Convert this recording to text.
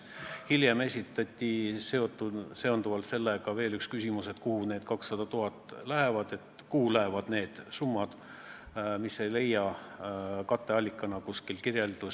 Hiljem esitati veel üks sellega seonduv küsimus, nimelt, kuhu need 200 000 lähevad ja kuhu lähevad üldse need summad, mis ei leia katteallikana kuskil kirjeldust.